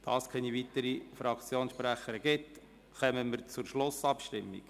Da sich keine weiteren Fraktionssprechenden gemeldet haben, kommen wir zur Schlussabstimmung.